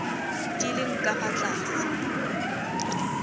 di leng ka fa tlase